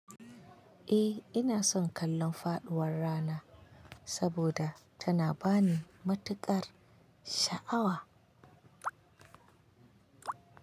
Eh ina son kallon faɗuwar rana saboda tana bani matuƙar sha'awa.